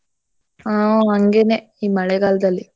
ಹಾ ಹಾಂಗೇನೇ ಈ ಮಳೆಗಾಲ್ದಲ್ಲಿ.